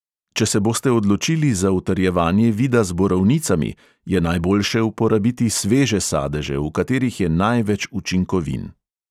Če se boste odločili za utrjevanje vida z borovnicami, je najboljše uporabiti sveže sadeže, v katerih je največ učinkovin.